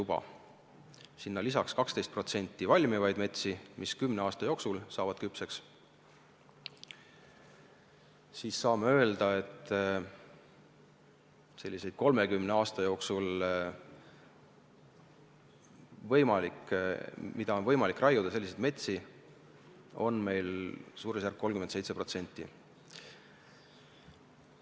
Kui lisada neile 12% valmivaid metsi, mis kümne aasta jooksul saavad küpseks, siis saame öelda, et sellist metsa, mida on 30 aasta jooksul võimalik raiuda, on meil umbes 37%.